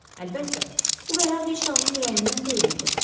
Əlbəttə, bu qərar heç də onun ürəyindən deyildi.